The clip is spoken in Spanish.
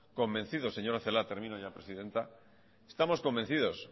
convencidos señora celaá termino ya presidenta estamos convencidos